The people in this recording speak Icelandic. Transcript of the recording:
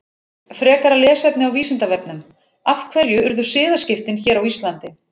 Frekara lesefni á Vísindavefnum: Af hverju urðu siðaskiptin hér á Íslandi?